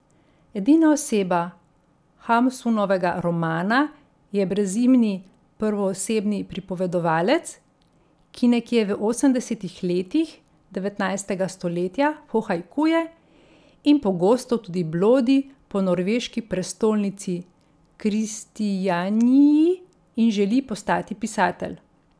Edina oseba Hamsunovega romana je brezimni prvoosebni pripovedovalec, ki nekje v osemdesetih letih devetnajstega stoletja pohajkuje in pogosto tudi blodi po norveški prestolnici Kristijaniji in želi postati pisatelj.